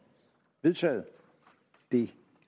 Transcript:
vedtaget det